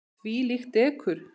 Þvílíkt dekur.